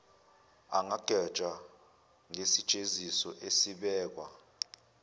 angagwetshwa ngesijeziso esibekwa